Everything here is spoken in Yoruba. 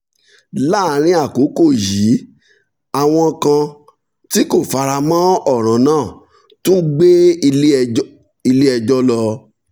láàárín àkókò yìí àwọn kan tí kò fara mọ́ ọ̀ràn náà tún gbé ilé ẹjọ́ lọ